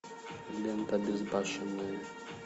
лента безбашенные